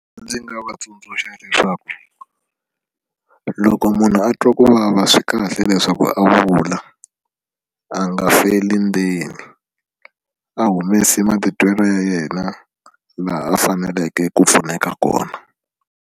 Ndzi nga va tsundzuxa leswaku loko munhu a twa ku vava swi kahle leswaku a vula a nga feli ndzeni a humesi matitwelo ya yena laha a faneleke ku pfuneka kona.